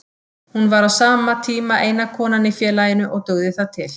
Hún var á tíma eina konan í félaginu og dugði það til.